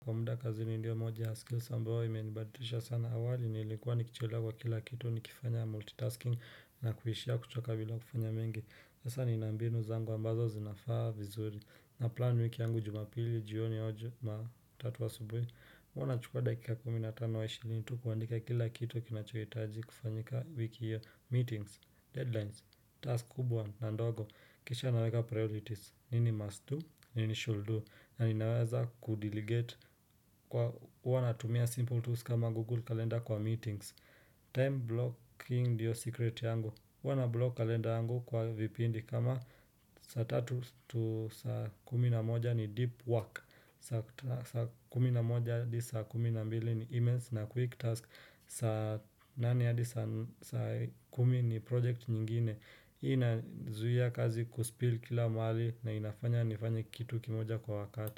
Kwa muda kazi ni ndio moja ya skills ambayo ime nibadilisha sana awali nilikuwa nikichelewa kila kitu nikifanya multitasking na kuishia kuchoka bila kufanya mengi sasa nina mbinu zangu ambazo zinafaa vizuri na plan wiki yangu jumapili jioni au jumatatu asubuhi Huwa nachukua dakika kumi na tano ishrini tu kuandika kila kitu kinachohitaji kufanyika wiki hiyo. Meetings, deadlines, task kubwa na ndogo. Kisha naweka priorities, nini must do, nini should do na ninaweza kudelegate kwa huwa natumia simple tools kama google calendar kwa meetings. Time blocking ndiyo secret yangu. Huwa nablock kalenda yangu kwa vipindi kama saa tatu to saa kumi na moja ni deep work, saa kumi na moja hadi saa kumi na mbili ni emails na quick task saa nane hadi saa kumi ni project nyingine. Hii inazuia kazi kuspill kila mahali na inafanya nifanye kitu kimoja kwa wakati.